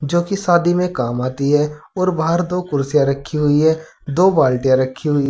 जोकि शादी में काम आती है और बाहर दो कुर्सियां रखी हुई है दो बाल्टिया रखी हुई --